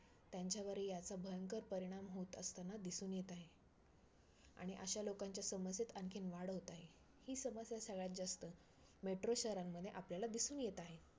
त्यांच्यावरही ह्याचा भयंकर परिणाम होत असताना दिसून येत आहे. आणि अशा लोकांच्या समस्येत आणखीन वाढ होत आहे. ही समस्या सगळ्यात जास्त metro शहरांमध्ये आपल्याला दिसून येत आहे.